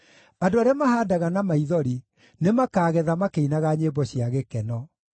Andũ arĩa mahaandaga na maithori, nĩmakagetha makĩinaga nyĩmbo cia gĩkeno.